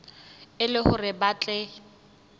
e le hore ba tle